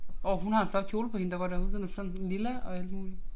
Åh hun har en flot kjole på hende der går derude. Den er sådan lilla og alt muligt